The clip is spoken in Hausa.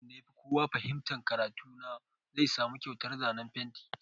Duk wanda ya fi kowa fahimtan karatu na zai samu kyautar zanen fenti.